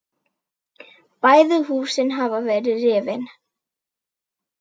Bæði húsin hafa verið rifin.